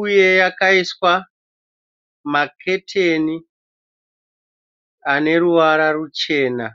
uye yakaiswa maketeni ane ruvara ruchena.